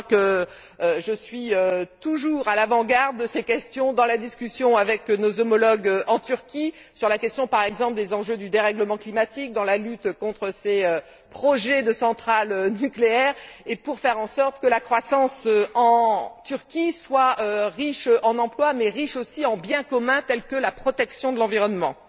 Je crois que je suis toujours à l'avant garde de ces questions dans la discussion avec nos homologues en Turquie, sur le point, par exemple, des enjeux du dérèglement climatique, dans la lutte contre ces projets de centrale nucléaire et pour faire en sorte que la croissance en Turquie soit riche en emplois, mais riche aussi en biens communs tels que la protection de l'environnement.